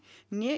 né